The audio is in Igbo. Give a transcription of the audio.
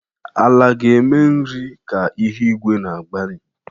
Ala ga na-eme nri ka ihu igwe na-agbanwe.